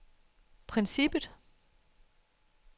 princippet